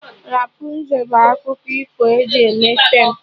Rapụnzel bụ akụkọ ifo eji mee feem